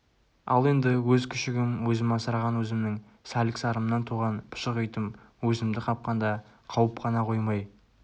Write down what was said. ал енді өз күшігім өзім асыраған өзімнің сәлік-сарымнан туған пұшық итім өзімді қапқанда қауып қана қоймай